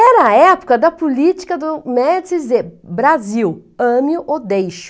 Era a época da política do Médici Zé Brasil, ame ou deixe-o.